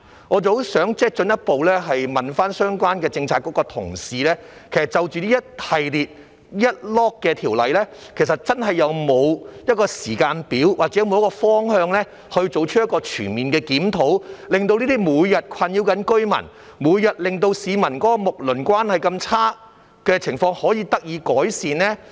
我想進一步詢問相關政策局的同事，就這一系列條例，其實真的有沒有一個時間表，或有沒有方向，作出一個全面的檢討，令這些每天困擾着居民，每天令市民的睦鄰關係如此差的情況，可以得到改善呢？